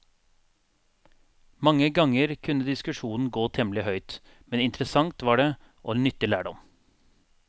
Mange ganger kunne diskusjonen gå temmelig høyt, men interessant var det, og nyttig lærdom.